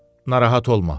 Narahat olma.